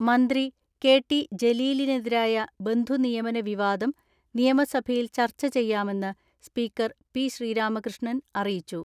മന്ത്രി K T ജലീലിനെതിരായ ബന്ധു നിയമന വിവാദം നിയമസഭയിൽ ചർച്ച ചെയ്യാമെന്ന് സ്പീക്കർ പി ശ്രീരാമകൃഷ്ണൻ അറിയിച്ചു.